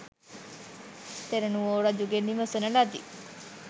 තෙරුණුවෝ රජුගෙන් විමසන ලදී.